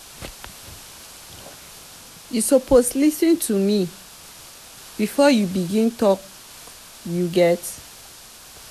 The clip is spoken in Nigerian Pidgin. you suppose lis ten to me before you begin tok you get?